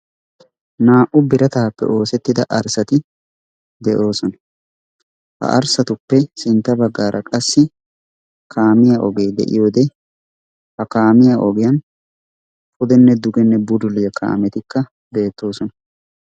Naa"u biratappe oosettida arssati de'oosona, ha arssatuppe sintta baggaara qassi kaamiya ogee de'iyode ha kaamiya ogiyan pudenne dugenne bululliya kaametikka beettoosona.